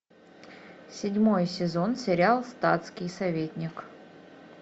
седьмой сезон сериал статский советник